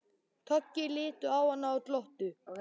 Toggi litu á hann og glottu.